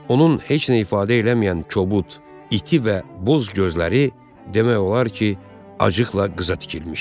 Onun heç nə ifadə eləməyən kobud, iti və boz gözləri demək olar ki, acıqla qıza tikilmişdi.